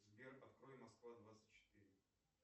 сбер открой москва двадцать четыре